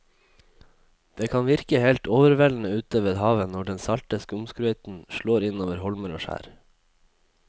Det kan virke helt overveldende ute ved havet når den salte skumsprøyten slår innover holmer og skjær.